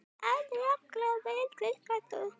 Aflakló vel fiskar sú.